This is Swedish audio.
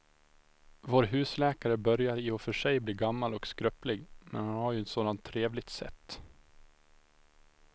Vår husläkare börjar i och för sig bli gammal och skröplig, men han har ju ett sådant trevligt sätt!